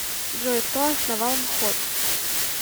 джой кто основал мхот